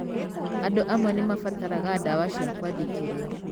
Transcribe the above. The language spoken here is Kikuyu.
Andũ amwe nĩ mabataraga ndawa cia kwandĩkĩro.